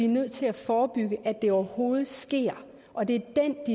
nødt til at forebygge at det overhovedet sker og det